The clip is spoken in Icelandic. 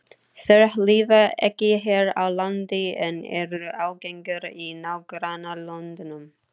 Þær lifa ekki hér á landi, en eru algengar í nágrannalöndunum.